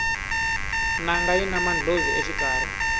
nanga yina mandlhozi exikarhi